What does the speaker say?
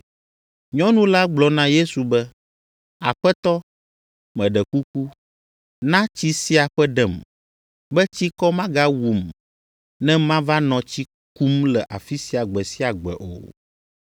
Nyɔnu la gblɔ na Yesu be, “Aƒetɔ, meɖe kuku, na tsi sia ƒe ɖem, be tsikɔ magawum ne mava nɔ tsi kum le afi sia gbe sia gbe o.”